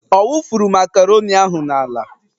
Ọ wufuru makaroni ahụ n'ala?